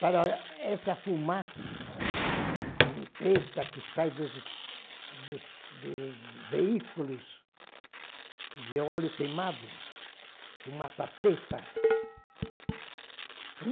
para essa fumaça preta que sai dos dos dos veículos de óleo queimado, fumaça preta.